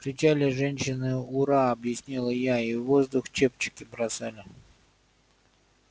кричали женщины ура объяснила я и в воздух чепчики бросали